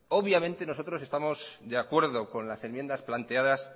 obviamente nosotros estamos de acuerdo con las enmiendas planteadas